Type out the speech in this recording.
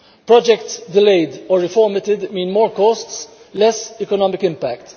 Projects delayed or reformatted mean more costs and less economic impact.